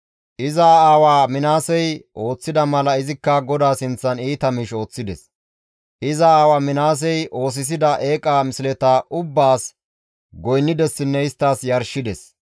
Iza aawa Minaasey ooththida mala izikka GODAA sinththan iita miish ooththides; iza aawa Minaasey oosisida eeqa misleta ubbaas goynnidessinne isttas yarshides.